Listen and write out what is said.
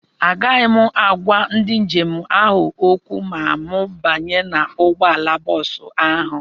Agaghị m agwa ndị njem ahụ okwu ma m banye n'ụgbọala bọọsụ ahụ.